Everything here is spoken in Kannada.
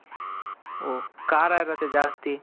ಓ ಖಾರ ಇರುತ್ತೆ ಜಾಸ್ತಿ